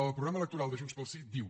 el programa electoral de junts pel sí diu